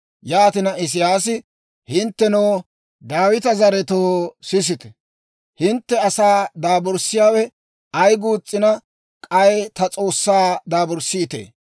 Yaatina, Isiyaasi, «Hinttenoo, Daawita zaretoo, sisite! Hintte asaa daaburssiyaawe ay guus's'ina, k'ay ta S'oossaa daaburssiitee?